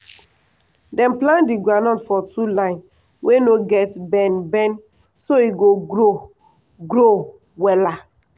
dem plant the groundnut for two lines wey no get bend bend so e o grow grow wella